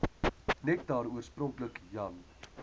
nektar oorspronklik jan